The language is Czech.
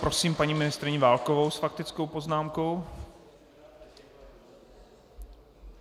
Prosím paní ministryni Válkovou s faktickou poznámkou.